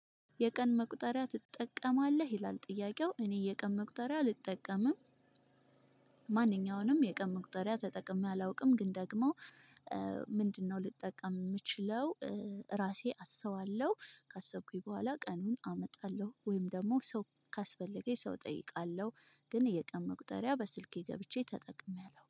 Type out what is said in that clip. የቀን መቁጠሪያ ትጠቀማለህ ይላል? ጥያቄው እኔ የቀን መቁጠሪያ አልጠቀምም ማንኛውንም የቅርብ መቁጠሪያ ተጠቅሜ አላውቅም። ግን ደግሞ ምንድነው ልጠቀም የምችለው? ራሴ አስባለሁ ካሰብኩኝ በኋላ ቀኑን አመጣለሁ ወይም ደግሞ ሰው ካስፈለገኝ ሰው እጠይቃለሁ። ግን የቀን መቁጠሪያ በስልኬ ገብቼ ተጠቅሜያለሁ